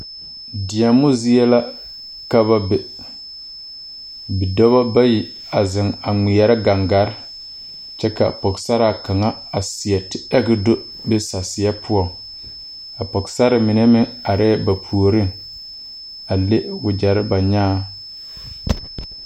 Deɛmo zie la ka ba be bidɔbɔ bayi a zeŋ a ngmeɛrɛ gangaa kyɛ ka pɔgesaraa kaŋ a seɛ te do be saseɛ poɔŋ a pɔgesarre mine meŋ areɛɛ ba puoriŋ a le wogyɛrre ba nyaaŋ.